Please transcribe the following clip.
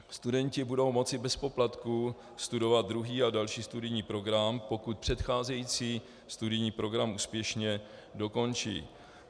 Studenti budou moci bez poplatků studovat druhý a další studijní program, pokud předcházející studijní program úspěšně dokončí.